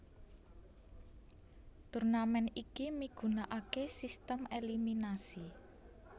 Turnamen iki migunakaké sistem eliminasi